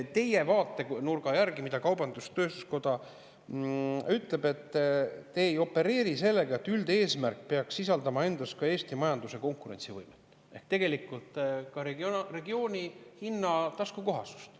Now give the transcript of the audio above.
Teie vaatenurga järgi, nagu kaubandus-tööstuskoda ütleb, te ei opereeri, et üldeesmärk sisaldab endas ka Eesti majanduse konkurentsivõimet ehk seda, et meie hinnad on regioonis taskukohased.